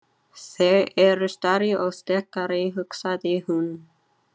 Þeir eru stærri og sterkari, hugsaði hún.